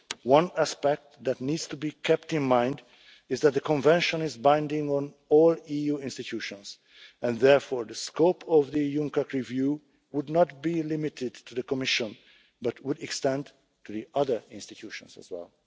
One aspect that needs to be kept in mind is that the Convention is binding on all EU institutions, and therefore the scope of the UNCAC review would not be limited to the Commission but would extend to the other institutions as well.